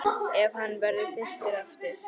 Ef hann verður þyrstur aftur.